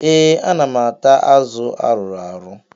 Ee, ana m ata azụ arụrụ arụ.